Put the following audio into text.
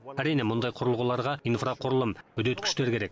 әрине мұндай құрылғыларға инфрақұрылым үдеткіштер керек